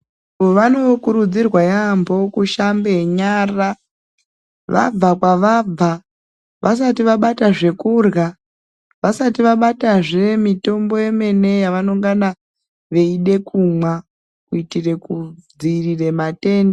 Vano kurudzirwa yambo ku shambe nyara vabva kwa vabva vasati vabata zvekurya vasati vabatazve mitombo yemene ya vanongana veide kumwa kuitire ku dzivirire matenda.